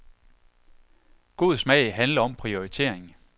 God smag handler om prioritering.